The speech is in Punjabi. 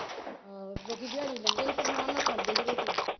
ਆਹੋ ਲੋਕੀ ਦਿਹਾੜੀ ਲਾਉਂਦੇ ਸੀ ਤੇ ਰਮਾਨ ਨਾਲ ਖਾਂਦੇ ਸੀ ਰੋਟੀ।